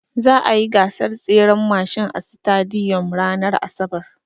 Za'a yi gasar tseren mashin a sitadiyom ranar asabar.